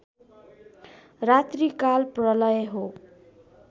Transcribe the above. रात्रिकाल प्रलय हो